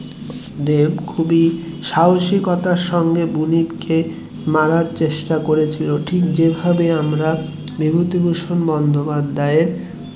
দেব খুবই সাহসিকতার সাথে বুনিপকে মারার চেষ্টা করেছিলেন ঠিক যে ভাবে আমরা বিভূতিভূষণ বন্দোপাধ্যায়ের